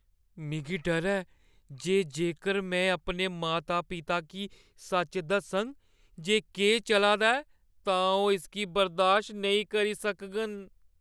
मिगी डर ऐ जे जेकर मैं अपने माता-पिता गी सच दस्सङ जे केह् चला दा ऐ, तां ओह् इसगी बर्दाश्त नेईं करी सकङन।